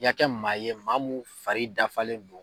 I ka kɛ maa ye maa mun fari dafalen no.